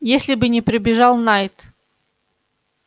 если бы не прибежал найд